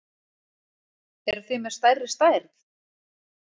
Eruð þið með stærri stærð?